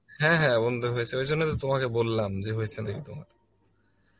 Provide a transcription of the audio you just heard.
হ্যাঁ বন্ধু হয়েছে ওই জন্য তো তোমাকে বললাম যে হয়েছে নাকি